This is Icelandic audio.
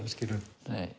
skilurðu